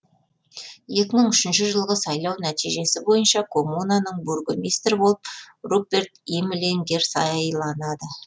екі мың үшінші жылғы сайлау нәтижесі бойынша коммунаның бургомистрі болып руперт имлингер сайланады